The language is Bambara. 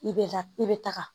I bɛ la i bɛ taga